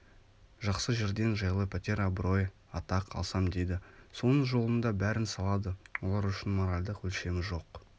жақсы жерден жайлы пәтер абырой-атақ алсам дейді соның жолында бәрін салады олар үшін моральдық өлшемі жоқ